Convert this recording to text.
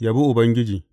Yabi Ubangiji.